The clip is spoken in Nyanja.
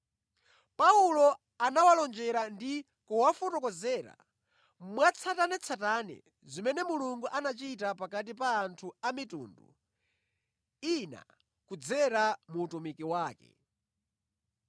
Paulo anawalonjera ndi kuwafotokozera mwatsatanetsatane zimene Mulungu anachita pakati pa anthu a mitundu ina kudzera mu utumiki wake.